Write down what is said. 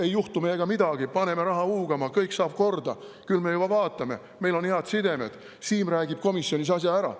Ei juhtu meiega midagi, paneme raha huugama, kõik saab korda, küll me juba vaatame, meil on head sidemed, Siim räägib komisjonis asja ära.